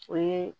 O ye